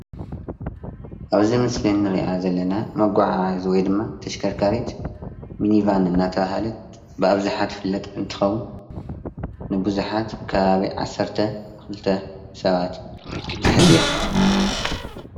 አብዚ ምስሊ እንሪአ ዘለና መጓዓዓዚ ወይ ድማ ተሽከርካሪት ሚኒቫን እናተብሃለት ብአብዝሓ ትፍለጥ እንትኸውን፤ ንቡዙሓት ከባቢ ዓሰርተ ክልተ ሰባት ትሕዝ እያ፡፡